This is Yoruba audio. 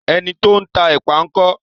Ẹni tó ń tá èpà ńkọ́?